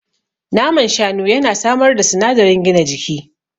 Naman Shanu ya na samar da sinadarin gina jiki